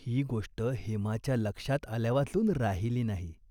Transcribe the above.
ही गोष्ट हेमाच्या लक्षात आल्यावाचून राहिली नाही.